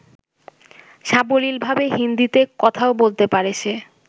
সাবলীলভাবে হিন্দীতে কথাও বলতে পারে সে।